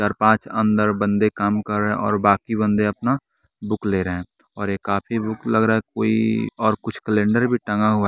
चार पांच अंदर बंदे काम कर रहे हैं और बाकी बंदे अपना बुक ले रहे हैं और ये काफी बुक लग रहा है कोई और कुछ कैलेंडर भी टंगा हुआ।